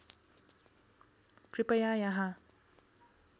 कृपया यहाँ